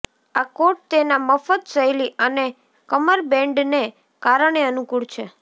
આ કોટ તેના મફત શૈલી અને કમરબૅન્ડને કારણે અનુકૂળ છે